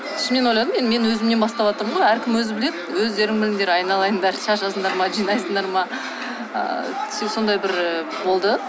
сосын мен ойладым енді мен өзімнен баставатырмын ғой әркім өзі біледі өздерің біліңдер айналайындар шашасыңдар ма жинайсыңдар ма сондай бір болды